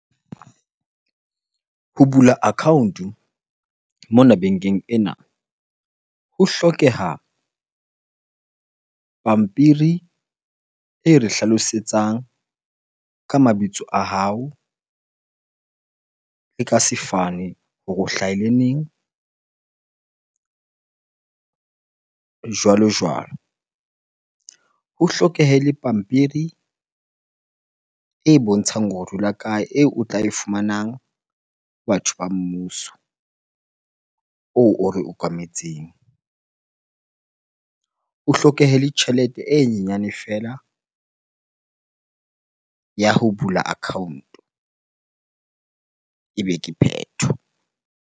Ho bula account-o mona bankeng ena ho hlokeha pampiri e re hlalosetsang ka mabitso a hao le ka sefane hore o hlahile neng? Jwalo jwalo. Ho hlokehe le pampiri e bontshang hore o dula kae eo o tla e fumanang batho ba mmuso oo o re okametseng. Ho hlokehe le tjhelete e nyenyane feela ya ho bula account-o ebe ke phetho.